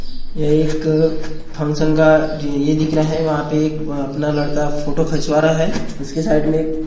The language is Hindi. यह एक फंक्षन का ये दीख रहा है वहाँ पे एक अपना लड़का फोटो खचवा रहा है इसके साइट में --